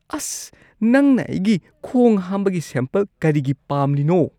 ꯑꯁ꯫ ꯅꯪꯅ ꯑꯩꯒꯤ ꯈꯣꯡ ꯍꯥꯝꯕꯒꯤ ꯁꯦꯝꯄꯜ ꯀꯔꯤꯒꯤ ꯄꯥꯝꯂꯤꯅꯣ?